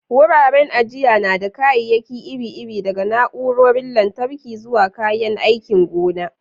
Wuraren ajiya na da kayayyaki iri-iri, daga na'urorin lantarki zuwa kayan aikin gona.